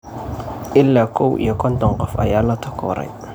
Ilaa kow iyo konton qof ayaa la takooraay.